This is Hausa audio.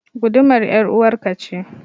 Gudumar ƴaruwar ka ce.